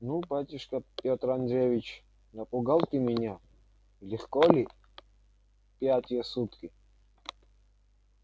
ну батюшка пётр андреич напугал ты меня легко ли пятые сутки